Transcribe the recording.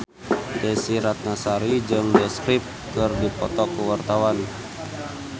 Desy Ratnasari jeung The Script keur dipoto ku wartawan